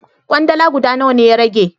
Kwandala guda nawa ne ya rage?